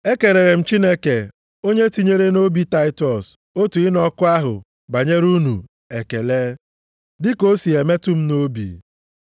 Ekelere m Chineke onye tinyere nʼobi Taịtọs otu ịnụ ọkụ ahụ banyere unu ekele, dịka o si emetụ m nʼobi.